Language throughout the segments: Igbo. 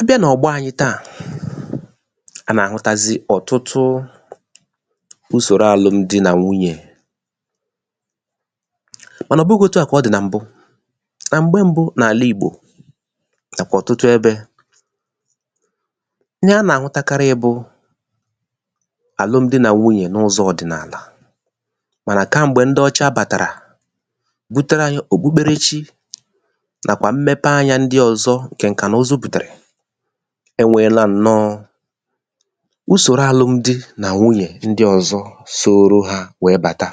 abịa nà ọ̀gbọ ànyị taa a nà-àhụtazị ọ̀tụtụ usòro àlụmdi nà wunyè mànà ọ bụghī out a kà ọ dì nà m̀bu nà m̀gbe mbu n’àla ìgbò nàkwà ọ̀tụtụ ebē ihe a nà-àhụtakarị bụ àlụmdi nà wunyè n’ụzọ̄ ọ̀dị̀nàlà mànà kam̀gbè ndị ọcha bàtàrà butere ànyị òkpukpere chi nàkwà mmepe anyā ndị ọ̀zọ ǹkè ǹkànuuzu bùtere e nweela ǹnọ usòro àlụmdi nà wunyè ụ̀dị ndị ọ̀zọ soro hā wee bàta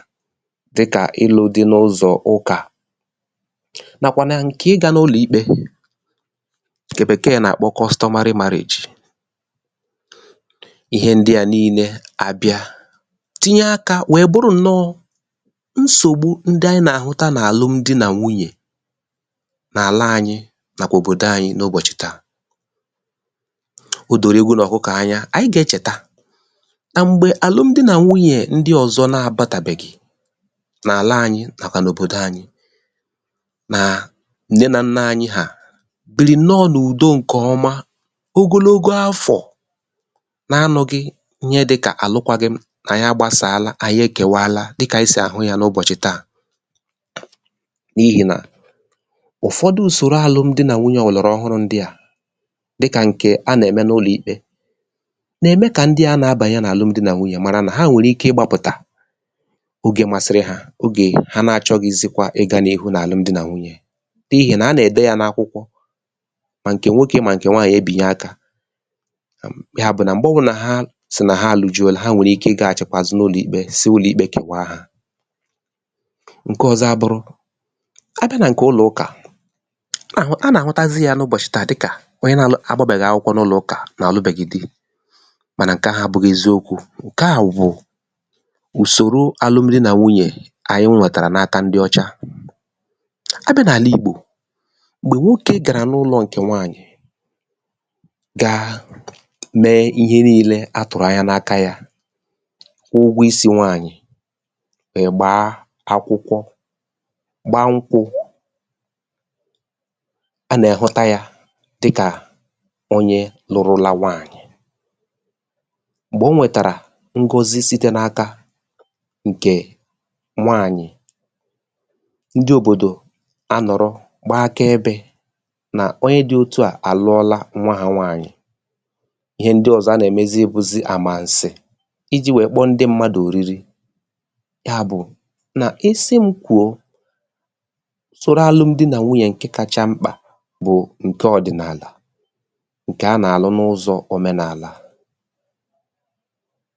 dịkà ịlụ di n’ụzọ̀ ụkà nàkwà na ǹke ịgā n’ụlọ̀ ikpe ǹkè bèkee nà-àkpọ customary marriage ihe ndị a niile àbịa tinye akā wee bụrụ ǹnọ nsògbu ndị ànyị nà-àhụta n’àlụmdi nà wunyè n’àla anyị nàkwà òbòdo anyị n’ụbòchụ̀ taa o doola ewu nà òkụkọ̀ anya ànyị gà-echèta nà m̀gbè àlụmdi nà wunyè ndị ọ̀zọ na-abātàbèghì n’àla ànyị nàkwà n’òbòdo ànyị na nne nà nnā ànyị hà bìrì ǹnọ n’ùdo ǹè ọma ogologo afọ̀ na-anụ̄ghị ihe dịkà àlụkwaghi m nà ànyị agbāsàlà ànyị ekèwala dịkà ànyị sì àhụ ya n’ụbọ̀chị̀ taa n’ihì nà ụ̀fọdụ ùsòro àlụmdi nà wunyè ọ̀lọ̀rọ ọhụrụ̄ ndị a dịkà ǹkè a nà-ème n’ụlọ̀ ikpē nà-ème ka ndị a na-abànye n’àlụmdi nà wunyè mara nà ha nwèrè ike ịgbāpụ̀tà ogē masịrị hā oge ha na achọ̄ghịzịkwa ịga n’ihu n’àlụmdi nà wunyè n’ihì nà a nà-ède ya n’akwụkwọ mà ǹkè nwokē mà ǹkè nwaanyị̀ ebìnye akā ya bụ̀ nà m̀gbe ọ̀ wụnà ha sì nà ha àlụjuona ha nwèrè ike ịgāchị̀kwa àzụ n’ụlọ̀ ikpē siu ̣lọ̀ ikpē kèwa ha ǹke ọ̀zọ à bụrụ abịa nà ǹkè ụlọ̀ ụkà a nà-àhụtazị ya n’ụbọ̀chị̀ taa dịkà onye na-alụ agbābèghì akwụkwọ n’ụlọ̀ ụkà nà o lubèghi di mànà ǹke ahụ̀ abụ̄ghị eziokwū ǹke a wụ ùsòro alụmdi nà wunyè ànyị nwètàrà n’aka ndị ọcha abịa n’àla ìgbò m̀gbè nwokē gàrà n’ụlọ̄ ǹkè nwaanyị̀ gaa mee he niilē atụ̀rụ̀ anya n’aka yā kwụọ ụgwọ isī nwaanyị̀ ị̀gbaa akwụkwọ gbaa nkwū a nà-àhụta yā dịkà onye lụrụla nwaanyị̀ m̀gbè o wètàrà Ngozi site n’aka ǹkè nwaanyị̀ ndị òbòdò a nọ̀rọ gbaa aka ebē nà onye dị òtu a àlụọla nnwā ha nwaanyị̀ ihe ndị ọ̀zọ a nà-èmezi bụzị àmànsị̀ ijī wee kpọọ ndị mmadụ̀ òriri ya bụ̀ nà isi m kwùo usòro àlụmdi nà wunyè ǹke kacha mkpà bụ̀ ǹke ọ̀dịnàlà ǹke a nà-àkụ n’ụzọ̄ òmenàlà